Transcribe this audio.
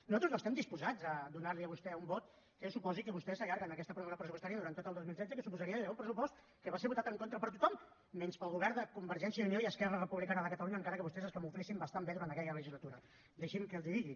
nosaltres no estem disposats a donar li a vostè un vot que suposi que vostè s’allarga en aquesta pròrroga pressupostària durant tot el dos mil setze que suposaria gairebé un pressupost que va ser votat en contra per tothom menys pel govern de convergència i unió i esquerra republicana de catalunya encara que vostès es camuflessin bastant bé durant aquella legislatura deixi’m que els ho digui